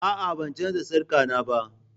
A'a, ban canza sarka na ba